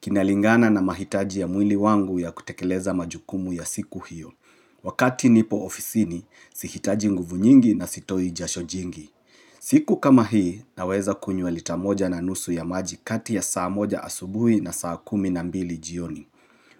Kinalingana na mahitaji ya mwili wangu ya kutekeleza majukumu ya siku hiyo. Wakati nipo ofisini, sihitaji nguvu nyingi na sitoi jasho jingi. Siku kama hii, naweza kunywa lita moja na nusu ya maji kati ya saa moja asubui na saa kumi na mbili jioni.